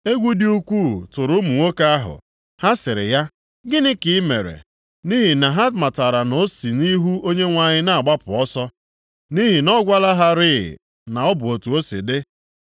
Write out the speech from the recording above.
Egwu dị ukwuu tụrụ ụmụ nwoke ahụ, ha sịrị ya, “Gịnị ka i mere?” Nʼihi na ha matara na o si nʼihu Onyenwe anyị na-agbapụ ọsọ, nʼihi na ọ gwala ha rịị na ọ bụ otu o si dị.